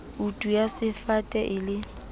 kutu ya sefate e le